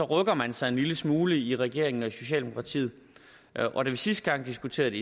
rykker man sig en lille smule i regeringen og i socialdemokratiet og da vi sidste gang diskuterede